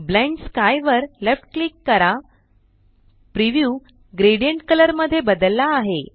blend sky वर left click करा preview gradient colour मध्ये बदलला आहे